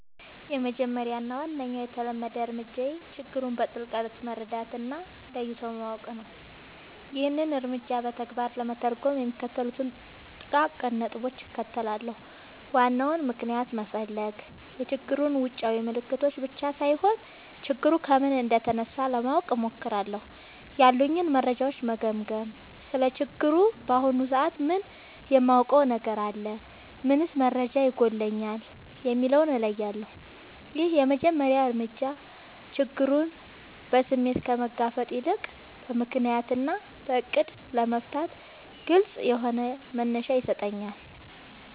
—የመጀመሪያው እና ዋነኛው የተለመደ እርምጃዬ ችግሩን በጥልቀት መረዳት እና ለይቶ ማወቅ ነው። ይህንን እርምጃ በተግባር ለመተርጎም የሚከተሉትን ጥቃቅን ነጥቦች እከተላለሁ፦ ዋናውን ምክንያት መፈለግ፣ የችግሩን ውጫዊ ምልክቶች ብቻ ሳይሆን፣ ችግሩ ከምን እንደተነሳ ለማወቅ እሞክራለሁ። ያሉኝን መረጃዎች መገምገም: ስለ ችግሩ በአሁኑ ሰዓት ምን የማውቀው ነገር አለ? ምንስ መረጃ ይጎድለኛል? የሚለውን እለያለሁ። ይህ የመጀመሪያ እርምጃ ችግሩን በስሜት ከመጋፈጥ ይልቅ በምክንያት እና በዕቅድ ለመፍታት ግልጽ የሆነ መነሻ ይሰጠኛል።